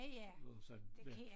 Og sådan ja